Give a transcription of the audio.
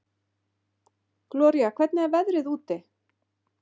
Gloría, hvernig er veðrið úti?